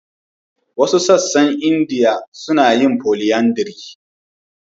Wasu sassan Indiya suna yin polyandry.